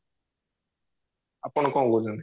ଆପଣ କଣ କହୁଛନ୍ତି